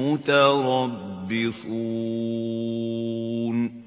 مُّتَرَبِّصُونَ